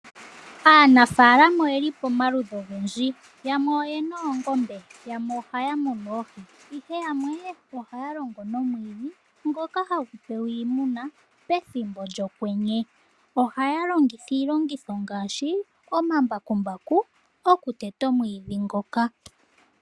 Aanafalama oyeli pamaludhi ogendji. Yamwe oyena oongombe, yamwe ohaya munu oohi, noyamwe ohaya longo nomwiidhi ngoka hagu pewa oongombe pethimbo lyokwenye. Ohaya longitha iilongitho ngaashi omambakumbaku, okuteta omwiidhi ngoka.